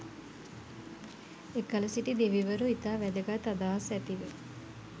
එකල සිටි දෙවිවරු ඉතා වැදගත් අදහස් ඇතිව